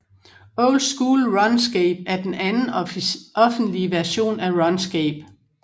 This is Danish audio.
Old School RuneScape er den anden offentlige version af RuneScape